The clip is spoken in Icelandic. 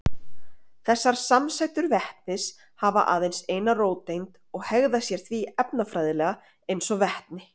Þessar samsætur vetnis hafa aðeins eina róteind og hegða sér því efnafræðilega eins og vetni.